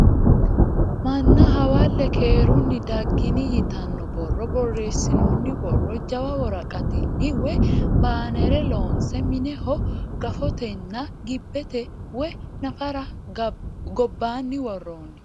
Manna hawalle keerunni daggini yitanno borro borreessinoonni borro jawu woraqattinni woyi baanere loonse mineho gafotenna gibbete woyi nafari gobbaanni worroonni.